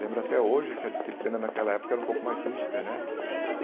Lembro até hoje que a disciplina naquela época era um pouco mais rígida, né.